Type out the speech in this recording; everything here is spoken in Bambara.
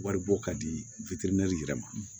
Waribɔ ka di yɛrɛ ma